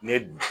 Ne ye dun